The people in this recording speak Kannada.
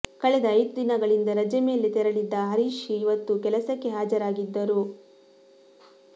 ಕಳೆದ ಐದು ದಿನಗಳಿಂದ ರಜೆ ಮೇಲೆ ತೆರಳಿದ್ದ ಹರೀಶ್ ಇವತ್ತು ಕೆಲಸಕ್ಕೆ ಹಾಜರಾಗಿದ್ದರು